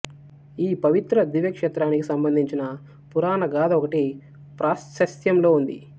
ఈ పవిత్ర దివ్య క్షేత్రానికి సంబంధించిన పురాణగాథ ఒకటి ప్రాశస్త్యంలో ఉంది